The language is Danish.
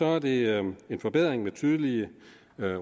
er det en forbedring med tydelige